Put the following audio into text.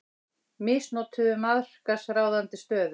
Misnotuðu markaðsráðandi stöðu